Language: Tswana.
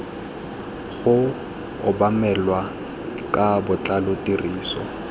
go obamelwa ka botlalo tiriso